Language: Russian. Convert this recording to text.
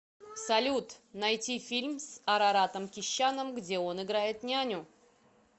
салют найти фильм с араратом кещяном где он играет няню